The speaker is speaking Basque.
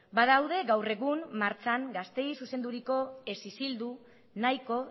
badaude gaur egun martxan gazteei zuzenduriko ez isildu nahiko